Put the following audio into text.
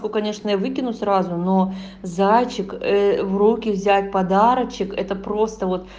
ну конечно я выкину сразу но зайчик в руки взять подарочек это просто вот